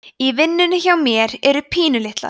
í vinnunni hjá mér eru pínulitlar